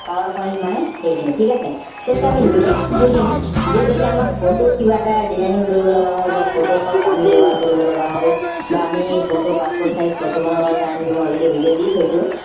power point মানে সেইখিনি ঠিক আছে so এতিয়া আমি next বুজিম যে যদি আমাক photo ত কিবা এটা designing কৰিব লগা হয় বা photoshop আমি ব্যৱহাৰ কৰিব লগা হল বা আমি photo passport size photo বনাব কাৰণে মই already video দি থৈছো